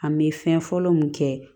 An bɛ fɛn fɔlɔ mun kɛ